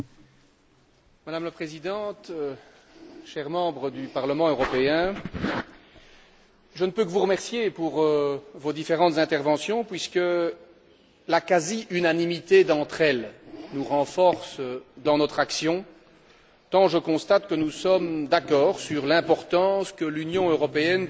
Madame la Présidente, chers députés au Parlement européen, je ne peux que vous remercier pour vos différentes interventions puisque la quasi unanimité d'entre elles nous renforce dans notre action. Je constate que nous sommes d'accord sur l'importance que l'Union européenne doit accorder